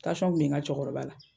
Tansiyɔn kun bɛ n ka cɛkɔrɔba la.